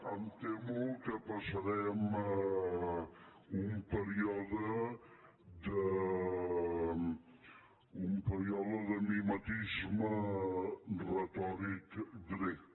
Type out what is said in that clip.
em temo que passarem un període de mimetisme retòric grec